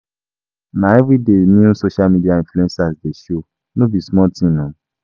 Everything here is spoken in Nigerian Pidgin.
Na everyday new social media influencers dey show, no be small tin um